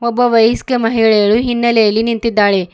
ಒಬ್ಬ ವಯಸ್ಕ ಮಹಿಳೆಯಲು ಹಿನ್ನ ಳೆಯಲ್ಲಿ ನಿಂತಿದ್ದಾಳೆ.